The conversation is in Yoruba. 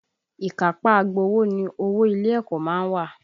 Ìkápá agbowó ni owó ilé ẹ̀kọ́ má ń wà